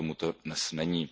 Bohužel tomu tak dnes není.